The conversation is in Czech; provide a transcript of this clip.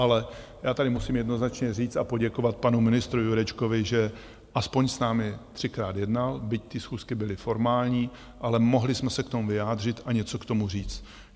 Ale já tady musím jednoznačně říct a poděkovat panu ministru Jurečkovi, že alespoň s námi třikrát jednal, byť ty schůzky byly formální, ale mohli jsme se k tomu vyjádřit a něco k tomu říct.